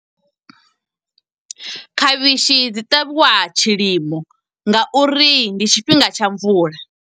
Khavhishi dzi ṱavhiwa tshilimo nga uri ndi tshifhinga tsha mvula.